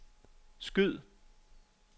skyd